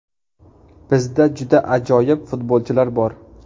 Bizda juda ajoyib futbolchilar bor.